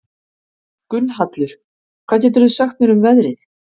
Gunnhallur, hvað geturðu sagt mér um veðrið?